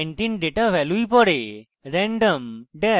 যেমনকি এই ক্ষেত্রে random dash numbers dot txt